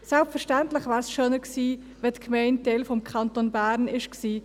Selbstverständlich wäre es schöner gewesen, wenn die Gemeinde Teil des Kantons Bern geblieben wäre.